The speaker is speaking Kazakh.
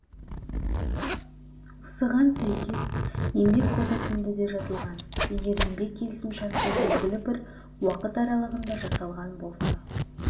осыған сәйкес еңбек кодексінде де жазылған егер еңбек келісімшарты белгілі бір уақыт аралығына жасалған болса